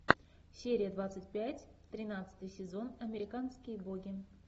серия двадцать пять тринадцатый сезон американские боги